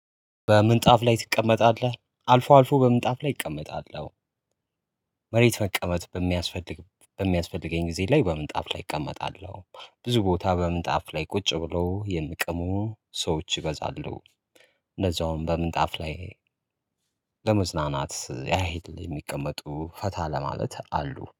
በምንጣፍ ላይ ትቀመጣለህ አልፎ አልፎ በምንጣፍ ላይ እቀመጣለው። መሬት መቀመጥ በሚያስፈልግ በሚያስፈልገኝ ጊዜ ላይ በምንጣፍ ላይ እቀመጣለሁ። ብዙ ቦታ በምንጣፍ ላይ ቁጭ ብለው የሚቅሙ ሰዎች ይበዛሉ። እንደዛውም በምንጣፍ ላይ ለመዝናናት ያህል የሚቀመጡ ፈታ ለማለት አሉ